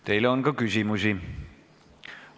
Teile on ka küsimusi.